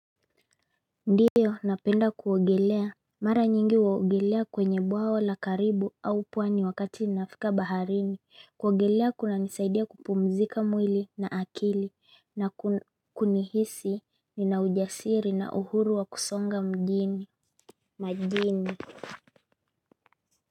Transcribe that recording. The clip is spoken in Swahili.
Ndio napenda kuogelea mara nyingi uogelea kwenye bwawa la karibu au pwani wakati nifika baharini. Kuogelea kuna nizaidia kupumzika mwili na akili na kunihisi ni na ujasiri na uhuru wa kusonga majini.